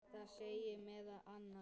Það segir meðal annars